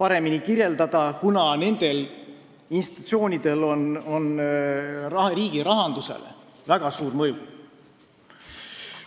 paremini kirjeldada, kuna nendel institutsioonidel on riigirahandusele väga suur mõju.